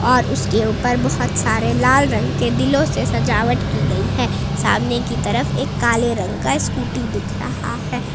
और उसके ऊपर बहोत सारे लाल रंग के दिलों से सजावट की गई है सामने की तरफ एक काले रंग का स्कूटी दिख रहा है।